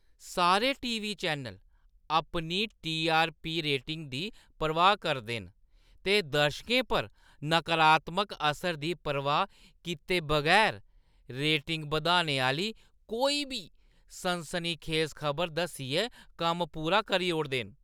सारे TV. Channel अपनी TRP. Rating दी परवाह् करदे न ते दर्शकें पर नकारात्मक असर दी परवाह् कीते बगैर रेटिंग बधाने आह्‌ली कोई बी सनसनीखेज खबर दस्सियै कम्म पूरा करी ओड़दे न।